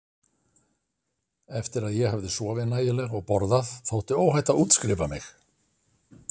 Eftir að ég hafði sofið nægilega og borðað þótti óhætt að útskrifa mig.